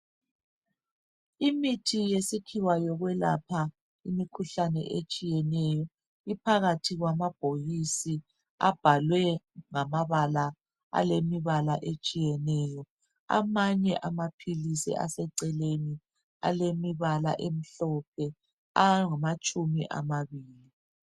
Imithi yesikhiwa yokwelapha imikhuhlane etshiyeneyo iphakathi kwamabhokisi abhalwe ngamabala alemibala etshiyeneyo. Amanye amaphilisi aseceleni alemibala emhlophe angamatshumi amabili.